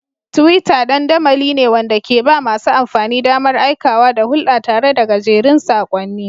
Twitter dandamali ne wanda ke ba masu amfani damar aikawa da hulɗa tare da gajerun saƙonni.